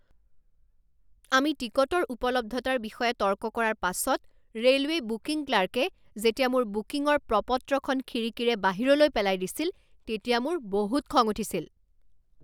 আমি টিকটৰ উপলব্ধতাৰ বিষয়ে তৰ্ক কৰাৰ পাছত ৰে'লৱে বুকিং ক্লাৰ্কে যেতিয়া মোৰ বুকিঙৰ প্ৰ পত্ৰখন খিৰিকীৰে বাহিৰলৈ পেলাই দিছিল তেতিয়া মোৰ বহুত খং উঠিছিল।